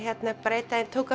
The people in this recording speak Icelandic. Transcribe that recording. einn daginn tók